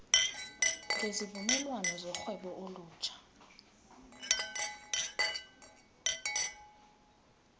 ngezivumelwano zorhwebo olutsha